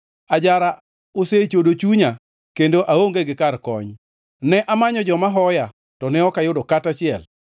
Ajara osechodo chunya kendo aonge gi kar kony. Ne amanyo joma hoya, to ne ok ayudo kata achiel.